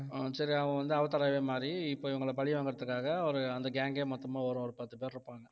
சரி அவன் வந்து அவதாராவே மாறி இப்ப இவங்கள பழி வாங்குறதுக்காக ஒரு அந்த gang கே மொத்தமா வரும் ஒரு பத்து பேர் இருப்பாங்க